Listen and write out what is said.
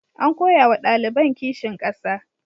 An koya wa ɗaliban kishin ƙasa.